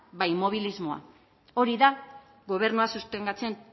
immobilismoa hori da gobernua sustengatzen